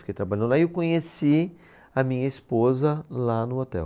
Fiquei trabalhando lá e eu conheci a minha esposa lá no hotel.